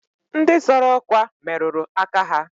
Ndị zọrọ ọkwa merụrụ aka ha.